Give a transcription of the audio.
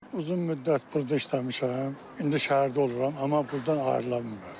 Uzun müddət burda işləmişəm, indi şəhərdə oluram, amma burdan ayrıla bilmirəm.